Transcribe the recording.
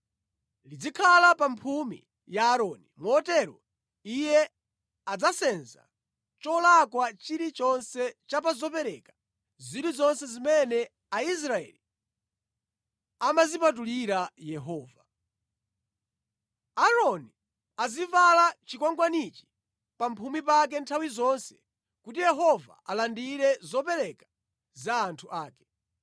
Lidzakhala pa mphumi ya Aaroni, motero iye adzasenza cholakwa chilichonse cha pa zopereka zilizonse zimene Aisraeli amazipatulira Yehova. Aaroni azivala chikwangwanichi pa mphumi pake nthawi zonse kuti Yehova alandire zopereka za anthu ake.